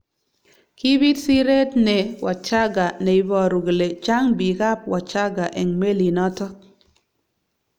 Kibit siret ne Wadschagga neiboru kole chang bik ab Wachaga eng melinotok.